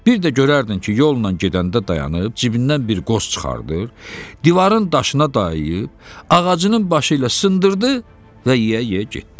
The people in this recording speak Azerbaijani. Bir də görərdin ki, yolla gedəndə dayanıb, cibindən bir qoz çıxardır, divarın daşına dayayıb, ağacının başı ilə sındırdı və yeyə-yeyə getdi.